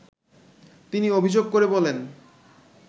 তিনি অভিযোগ করে বলেন